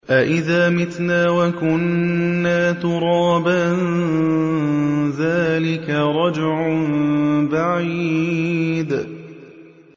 أَإِذَا مِتْنَا وَكُنَّا تُرَابًا ۖ ذَٰلِكَ رَجْعٌ بَعِيدٌ